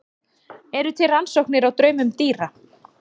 eru til rannsóknir á draumum dýra